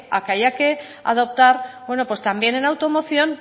a que haya que adoptar también en automoción